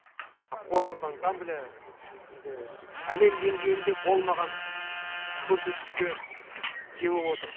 қорқыт ансамблі енді әлем деңгейінде болмаған көрсеткішке ие болып отыр